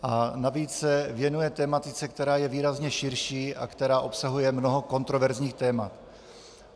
... a navíc se věnuje tematice, která je výrazně širší a která obsahuje mnoho kontroverzních témat.